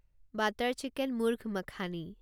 butter chicken murgh makhani